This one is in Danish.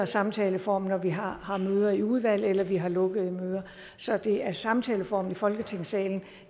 samtaleform når vi har har møder i udvalg eller vi har lukkede møder så det er samtaleformen i folketingssalen